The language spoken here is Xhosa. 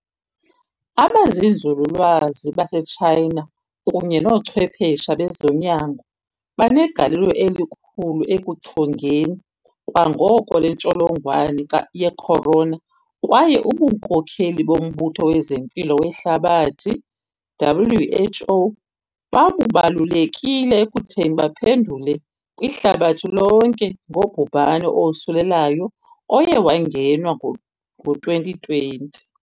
" Abezenzululwazi baseTshayina kunye noochwephesha bezonyango banegalelo elikhulu ekuchongeni kwangoko le ntsholongwane ye Khorona kwaye ubunkokheli boMbutho wezeMpilo weHlabathi, WHO, babubalulekile ekuthini baphendule kwihlabathi lonke ngobhubhane owosulelayo oye wangenwa ngo-2020.